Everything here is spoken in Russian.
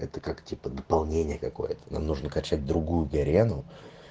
это как типа дополнение какое-то нам нужно качать другую гарену